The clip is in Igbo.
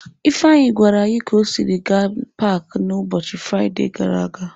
Ifeanyi gwara anyi ka o siri gaa n'paaki a n'ụbọchị Fraide gara aga.